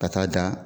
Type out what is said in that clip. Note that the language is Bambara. Ka taa dan